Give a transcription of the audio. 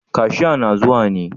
Kashia na zuwa ne?